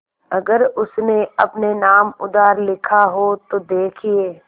अगर उसने अपने नाम उधार लिखा हो तो देखिए